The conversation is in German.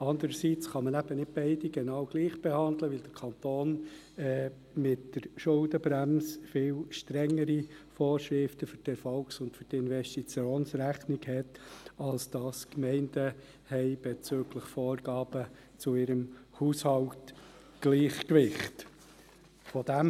Andererseits kann man nicht beide genau gleich behandeln, weil der Kanton mit der Schuldenbremse viel strengere Vorschriften für die Erfolgs- und Investitionsrechnung bezüglich Vorgaben zu ihrem Haushaltsgleichgewicht hat als die Gemeinden.